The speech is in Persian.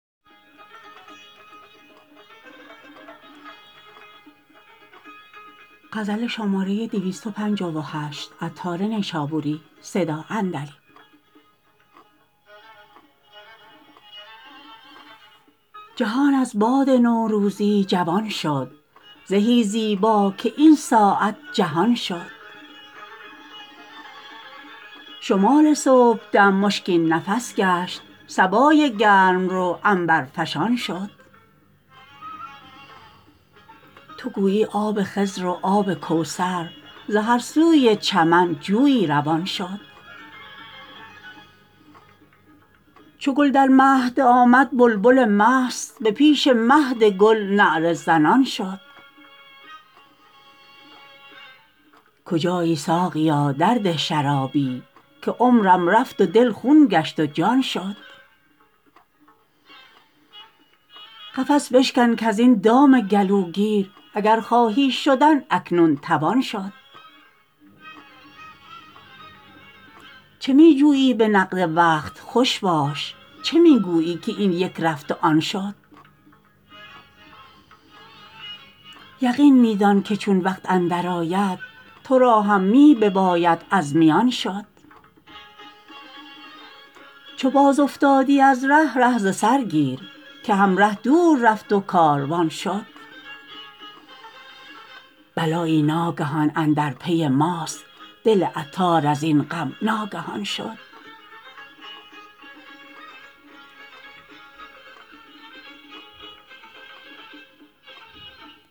جهان از باد نوروزی جوان شد زهی زیبا که این ساعت جهان شد شمال صبحدم مشکین نفس گشت صبای گرم رو عنبرفشان شد تو گویی آب خضر و آب کوثر ز هر سوی چمن جویی روان شد چو گل در مهد آمد بلبل مست به پیش مهد گل نعره زنان شد کجایی ساقیا درده شرابی که عمرم رفت و دل خون گشت و جان شد قفس بشکن کزین دام گلوگیر اگر خواهی شدن اکنون توان شد چه می جویی به نقد وقت خوش باش چه می گویی که این یک رفت و آن شد یقین می دان که چون وقت اندر آید تو را هم می بباید از میان شد چو باز افتادی از ره ره ز سر گیر که همره دور رفت و کاروان شد بلایی ناگهان اندر پی ماست دل عطار ازین غم ناگهان شد